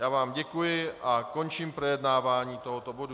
Já vám děkuji a končím projednávání tohoto bodu.